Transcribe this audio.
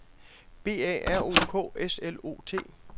B A R O K S L O T